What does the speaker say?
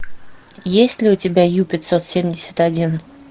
есть ли у тебя ю пятьсот семьдесят один